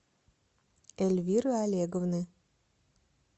эльвиры олеговны